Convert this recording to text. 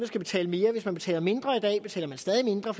skal betale mere hvis man betaler mindre i dag betaler man stadig mindre